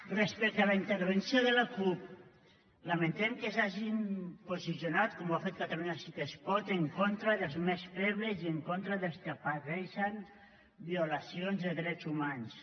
respecte a la intervenció de la cup lamentem que s’hagin posicionat com ho ha fet catalunya sí que es pot en contra dels més febles i en contra dels que pateixen violacions de drets humans